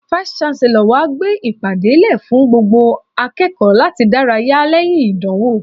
Vice-Chancellor wa gbé ìpàdé lè fún gbogbo akẹ́kọ̀ọ́ láti dárayá lẹ́yìn ìdánwò.